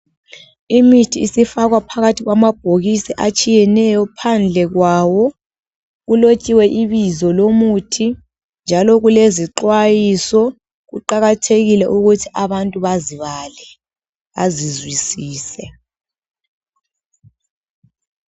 Imithi isifakwa phakathi kwamabhokisi atshiyeneyo. Phandle kwawo, kulotshiwe ibizo lomuthi njalo kulezixwayiso. Kuqakathekile ukuthi abantu bazibale , bazizwisise.